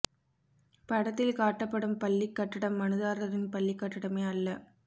படத்தில் காட்டப்படும் பள்ளிக் கட்டடம் மனுதாரரின் பள்ளிக் கட்டடமே அல்ல